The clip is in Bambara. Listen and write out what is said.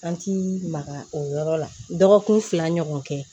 An ti maga o yɔrɔ la dɔgɔkun fila ɲɔgɔn kɛ